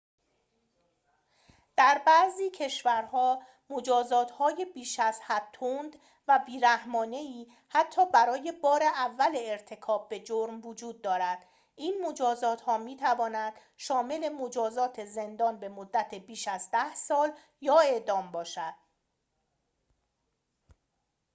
در بعضی کشورها مجازات‌های بیش‌ازحد تند و بی‌رحمانه‌ای حتی برای بار اول ارتکاب به جرم وجود دارد این مجازات‌ها می‌تواند شامل مجازات زندان به‌مدت بیش از ۱۰ سال یا اعدام باشد